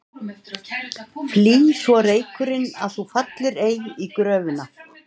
Flý svo reykurinn að þú fallir ei í gröfina.